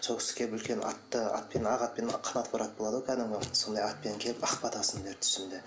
сол кісі келіп үлкен атты атпен ақ атпен қанаты бар ат болады ғой кәдімгі сондай атпен келіп ақ батасын берді түсімде